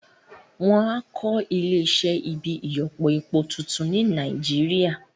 Wọ́n á kọ́ Ilé iṣẹ́ ibi ìyọpọ epo tuntun ní Nàìjíríà